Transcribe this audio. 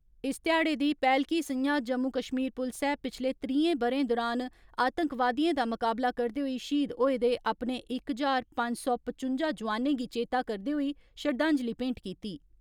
इस ध्याड़े दी पैहलकी संञा जम्मू कश्मीर पुलसै पिच्छले त्रीहें ब'रें दुरान आतंकवादियें दा मुकाबला करदे होई श्हीद होए दे अपने इक ज्हार पंज सौ पचुंजा जोआनें गी चेता करदे होई श्रद्धांजलि भेंट कीती।